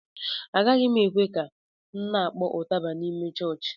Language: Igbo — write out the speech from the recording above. Agaghị ekwe m ka m na-kpọọ ụtaba n'ime chọọchị